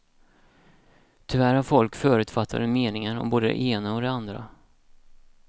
Tyvärr har folk förutfattade meningar om både det ena och det andra.